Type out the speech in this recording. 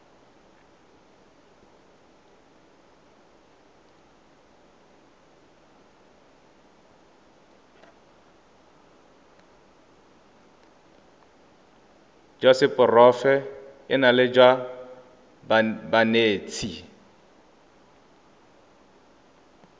jwa seporofe enale jwa banetshi